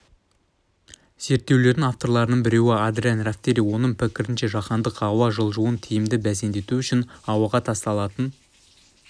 зерттеулердің авторларының біреуі адриан рафтери оның пікірінше жаһандық ауа жылуын тиімді бәсеңсіту үшін ауаға тасталатын